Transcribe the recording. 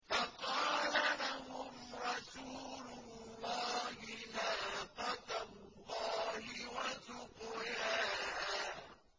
فَقَالَ لَهُمْ رَسُولُ اللَّهِ نَاقَةَ اللَّهِ وَسُقْيَاهَا